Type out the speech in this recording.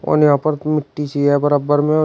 और यहां पर मिट्टी चाहिए बराबर में।